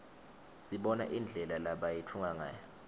sibona indlela lebayitfunga ngayo